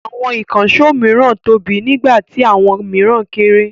Àwọn ìkànṣó mìíràn tóbi níwọ̀n nígbà tí àwọn mìíràn kéré.